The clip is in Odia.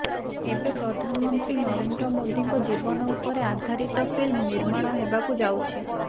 ଏବେ ପ୍ରଧାନମନ୍ତ୍ରୀ ନରେନ୍ଦ୍ର ମୋଦୀଙ୍କ ଜୀବନ ଉପରେ ଆଧାରିତ ଫିଲ୍ମ ନିର୍ମାଣ ହେବାକୁ ଯାଉଛି